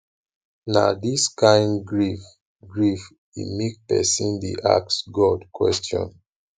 na dis kain grief grief dey make pesin dey ask god question